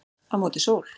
Á móti sól